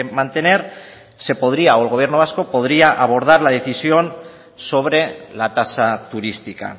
mantener se podría o el gobierno vasco podría abordar la decisión sobre la tasa turística